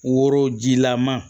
Worojilama